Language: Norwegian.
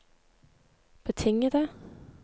betingede